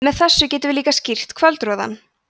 með þessu getum við líka skýrt kvöldroðann